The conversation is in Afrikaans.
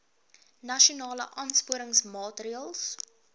nasionale aansporingsmaatre ls